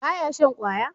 ba ya shan kwaya?